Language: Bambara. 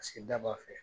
Paseke daba